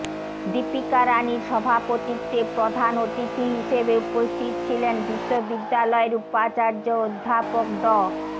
দীপিকা রাণীর সভাপতিত্বে প্রধান অতিথি হিসেবে উপস্থিত ছিলেন বিশ্ববিদ্যালয়ের উপাচার্য অধ্যাপক ড